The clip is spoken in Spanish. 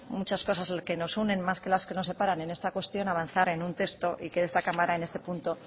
muchas cosas que nos unen más que las que nos separan en esta cuestión avanzar en un texto y que de esta cámara en este punto